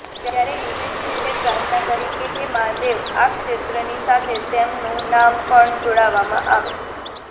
ત્યારે યુધિષ્ઠિરે પ્રાર્થના કરી હે મહાદેવ આ ક્ષેત્રની સાથે તેમનુ નામ પણ જોડવામાં આવે